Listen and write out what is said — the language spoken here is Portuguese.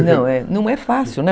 Não, não é fácil, né?